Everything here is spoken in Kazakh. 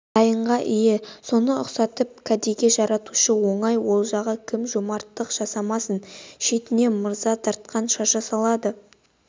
дайынға ие соны ұқсатып кәдеге жаратушы оңай олжаға кім жомарттық жасамасын шетінен мырза дарқан шаша салады